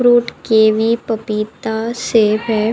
Fruit kiwi पपीता सेब है।